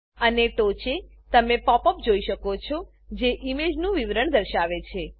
અને ટોંચે તમે પોપ અપ જોઈ શકો છો જે ઈમેજનું વિવરણ દર્શાવે છે